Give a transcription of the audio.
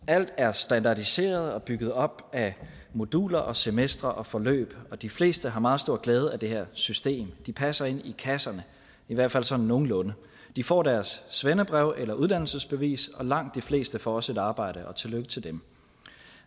alt er standardiseret og bygget op af moduler og semestre og forløb og de fleste har meget stor glæde af det her system de passer ind i kasserne i hvert fald sådan nogenlunde de får deres svendebrev eller uddannelsesbevis og langt de fleste får også et arbejde og tillykke til dem